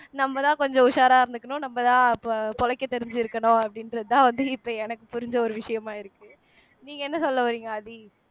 நம்மதான் கொஞ்சம் உஷாரா இருந்துக்கணும் நம்ப தான் பொ பொழைக்க தெரிஞ்சிருக்கணும் அப்படின்றதுதான் வந்து இப்ப எனக்கு புரிஞ்ச ஒரு விஷயமா இருக்கு நீங்க என்ன சொல்ல வரீங்க ஆதி